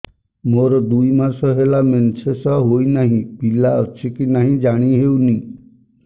ମୋର ଦୁଇ ମାସ ହେଲା ମେନ୍ସେସ ହୋଇ ନାହିଁ ପିଲା ଅଛି କି ନାହିଁ ଜାଣି ହେଉନି